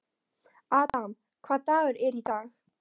Adam, hvaða dagur er í dag?